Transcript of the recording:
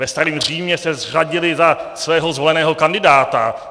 Ve starém Římě se řadili za svého zvoleného kandidáta.